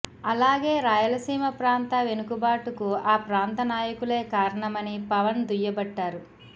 అలాగే రాయలసీమ ప్రాంత వెనుకబాటుకు ఆ ప్రాంత నాయకులే కారణమని పవన్ దుయ్యబట్టారు